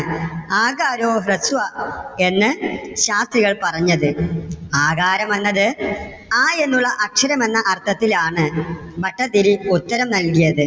എന്ന് ശാസ്ത്രികൾ പറഞ്ഞത്. ആകാരമെന്നത് അ എന്നുള്ള അക്ഷരം എന്ന അർത്ഥത്തിൽ ആണ് ഭട്ടതിരി ഉത്തരം നൽകിയത്.